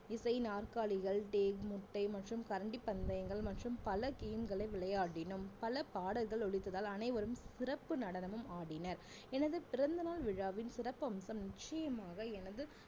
இசை நாற்காலிகள் முட்டை மற்றும் கரண்டி பந்தயங்கள் மற்றும் பல game களை விளையாடினோம் பல பாடல்கள் ஒலித்ததால் அனைவரும் சிறப்பு நடனமும் ஆடினர் எனது பிறந்தநாள் விழாவின் சிறப்பம்சம் நிச்சயமாக எனது